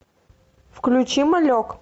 включи малек